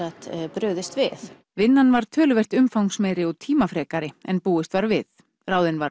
brugðist við vinnan var töluvert umfangsmeiri og tímafrekari en búist var við ráðinn var